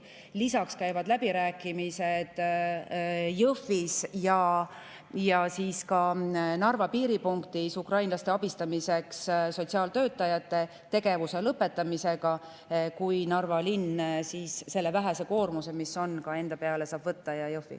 Lisaks käivad läbirääkimised Jõhvis ja ka Narva piiripunktis ukrainlaste abistamisega tegelenud sotsiaaltöötajate tegevuse lõpetamise üle, kui Narva linn selle vähese koormuse, mis seal on, enda peale saab võtta, samuti Jõhvi.